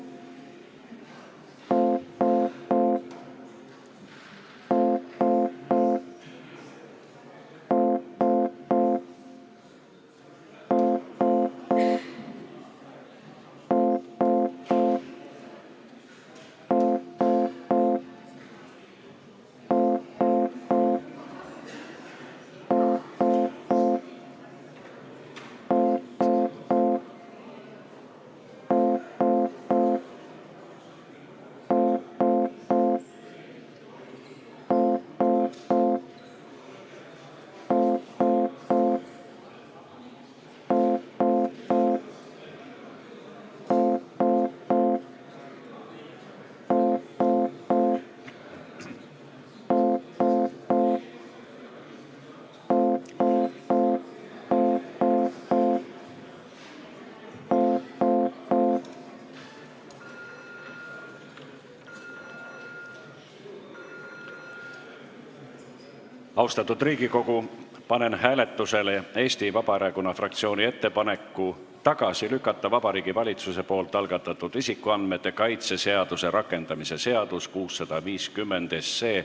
Austatud Riigikogu, panen hääletusele Eesti Vabaerakonna fraktsiooni ettepaneku tagasi lükata Vabariigi Valitsuse algatatud isikuandmete kaitse seaduse rakendamise seaduse eelnõu 650.